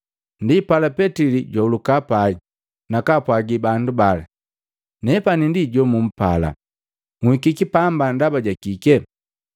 Ndi pala, Petili jwauluka pai, nakaapwagi bandu bala, “Nepani ndi jomumpala. Nhikiki pamba ndaba ja kike.”